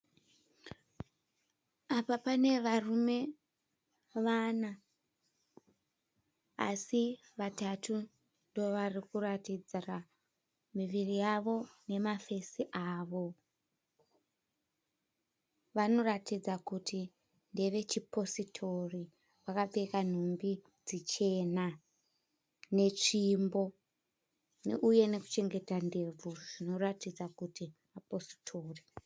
Apa panevarume vana. Asi vatatu ndo vari kuratidzira muviri yavo nemafesi avo. Vanoratidza kuti ndeve chipositori, vakapfeka nhumbi dzichena netsvimbo, uye nekuchengeta ndebvu zvinoratidza kuti mapositori.